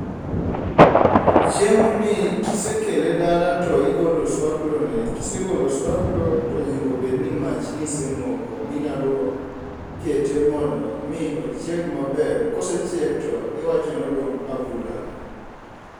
Chiemo ni ka isekele dala i golo oswaklo ne ka isegolo oswaklo to onego bed ni mach ne i semoko ma inyalo kete mondo mi ochiegi maber kose chiek to i wacho ni odumb a bula.